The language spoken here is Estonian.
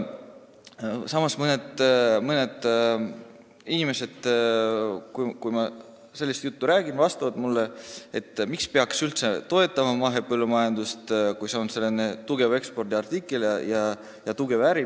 Samas, kui ma sellist juttu räägin, ütlevad mõned inimesed mulle, et miks peaks üldse mahepõllumajandust toetama, kui see on tugev ekspordiartikkel ja hea äri.